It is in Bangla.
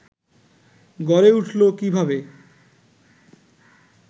গড়ে উঠল কীভাবে